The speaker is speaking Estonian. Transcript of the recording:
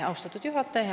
Austatud juhataja!